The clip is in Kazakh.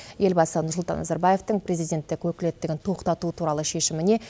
елбасы нұрсұлтан назарбаевтың президенттік өкілеттігін тоқтату туралы шешіміне